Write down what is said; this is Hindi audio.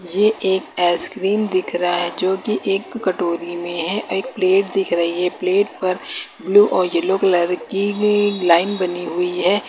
ये एक आइसक्रीम दिख रहा है जो की एक कटोरी मे है और एक प्लेट दिख रही है प्लेट पर ब्लू और येलो कलर की भी एक लाइन बनी हुई है।